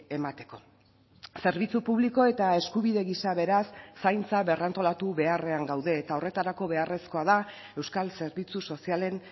emateko zerbitzu publiko eta eskubide gisa beraz zaintza berrantolatu beharrean gaude eta horretarako beharrezkoa da euskal zerbitzu sozialen